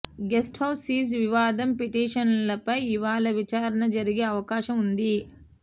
guest house seize వివాదం పిటిషన్పై ఇవాళ విచారణ జరిగే అవకాశం ఉంది